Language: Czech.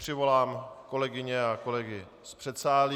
Přivolám kolegyně a kolegy z předsálí.